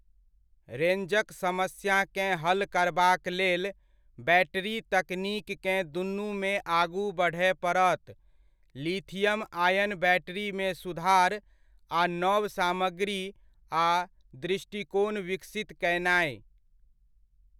रेंजक समस्याकेँ हल करबाक लेल बैटरी तकनीककेँ दुनूमे आगू बढ़य पड़त, लिथियम आयन बैटरीमे सुधार आ नव सामग्री आ दृष्टिकोण विकसित कयनाय।